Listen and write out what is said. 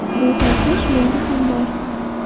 Bu xohish menda ham bor.